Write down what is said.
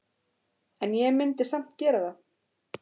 En ég myndi samt gera það.